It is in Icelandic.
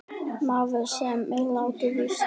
Maður, sem er latur víst.